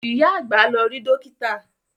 Ìyá àgbà lọ rí Dókítà